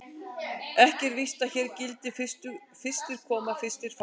Ekki er víst að hér gildi: Fyrstir koma, fyrstir fá.